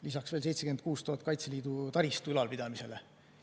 Lisaks veel 76 000 Kaitseliidu taristu ülalpidamiseks.